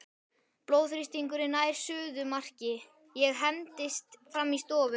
Blóðþrýstingurinn nær suðumarki, ég hendist fram í stofu.